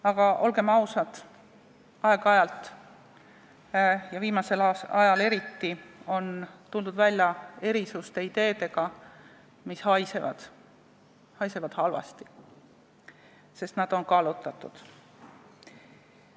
Aga olgem ausad, aeg-ajalt – ja viimasel ajal eriti – on tuldud välja erisuste ideedega, mis haisevad, sest nad on kallutatud.